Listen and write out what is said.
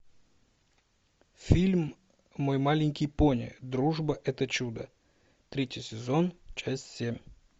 фильм мой маленький пони дружба это чудо третий сезон часть семь